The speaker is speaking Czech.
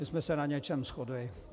My jsme se na něčem shodli.